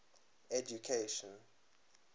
education